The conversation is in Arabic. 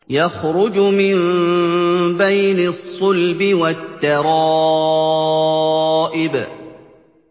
يَخْرُجُ مِن بَيْنِ الصُّلْبِ وَالتَّرَائِبِ